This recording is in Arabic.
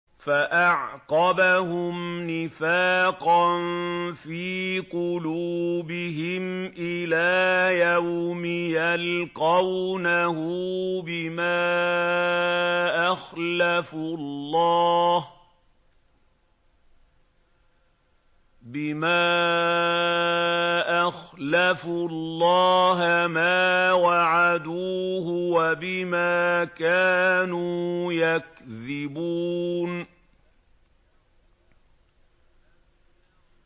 فَأَعْقَبَهُمْ نِفَاقًا فِي قُلُوبِهِمْ إِلَىٰ يَوْمِ يَلْقَوْنَهُ بِمَا أَخْلَفُوا اللَّهَ مَا وَعَدُوهُ وَبِمَا كَانُوا يَكْذِبُونَ